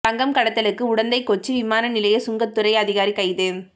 தங்கம் கடத்தலுக்கு உடந்தை கொச்சி விமான நிலைய சுங்கத்துறை அதிகாரி கைது